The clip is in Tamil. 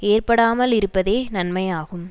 ஏற்படாமலிருப்பதே நன்மையாகும்